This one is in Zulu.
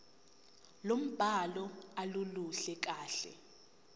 lombhalo aluluhle kahle